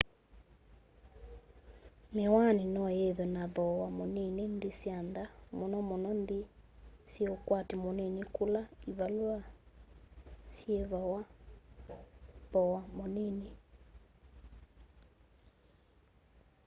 miwani no yithwe na thoowa munini nthi sya nza munomuno nthi syi ukwati munini kula ivalua syievawa thowa munini